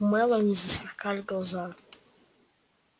у мелани засверкали глаза